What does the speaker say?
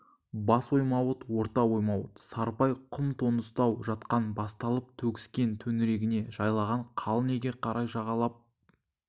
бас оймаут орта оймаут сарыбай құм доңызтау жақтан басталып төгіскен төңірегіне жайлаған қалың елге қарай жағалап